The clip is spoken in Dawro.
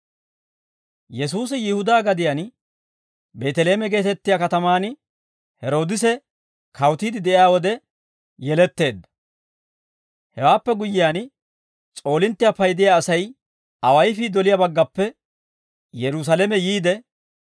Yesuusi Yihudaa gadiyaan Beeteleeme geetettiyaa katamaan Heroodise kawutiide de'iyaa wode yeletteedda; hewaappe guyyiyaan, s'oolinttiyaa paydiyaa asay awayifii doliyaa baggappe Yerusaalame yiide,